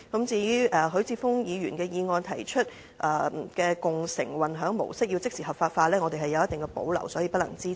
至於許智峯議員的修正案提到要即時將共乘的運輸模式合法化，我們有一定保留，所以不能支持。